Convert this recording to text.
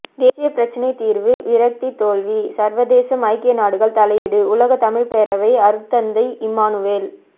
தேசிய பிரச்சினை தீர்வு விரக்தி தோல்வி சர்வதேசம் ஐக்கிய நாடுகள் தலையீடு உலகத் தமிழ்ப் பேரவை அருட்தந்தை இம்மானுவேல்